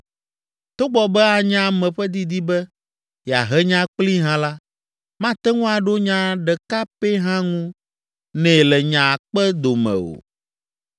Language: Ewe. Togbɔ be anye ame ƒe didi be yeahe nya kplii hã la, mate ŋu aɖo nya ɖeka pɛ hã ŋu nɛ le nya akpe dome o.